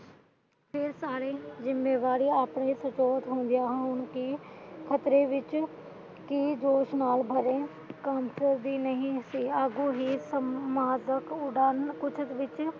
ਇਹ ਸਾਰੀ ਜਿੰਮੇਵਾਰੀ ਆਪਣੇ ਸੁਚੇਤ ਹੁੰਦੀਆਂ ਹੁਣ ਕਿ ਖ਼ਤਰੇ ਵਿਚ ਭਰੇ ਸੰਸਦ ਦੀ ਨਹੀਂ ਸੀ ਅੱਗੋਂ ਹੀ ਸੰਪਾਦਕ ਉਡਾਰ੍ਕ ਕੁਝ ਵਿੱਚ